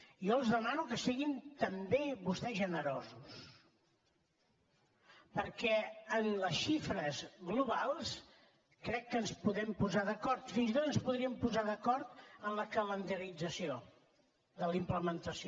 jo els demano que siguin també vostès generosos perquè en les xifres globals crec que ens podem posar d’acord fins i tot ens podríem posar d’acord en la calendarització de la implementació